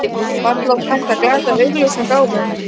Varla var hægt að glata augljósum gáfum?